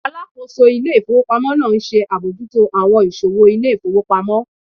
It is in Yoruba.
Alákóso ilé ifowópamọ́ n ṣe abojuto awọn iṣowo ilé ifowópamọ́